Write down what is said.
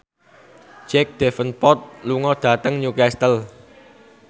Jack Davenport lunga dhateng Newcastle